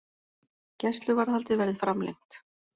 Gæsluvarðhaldið verði framlengt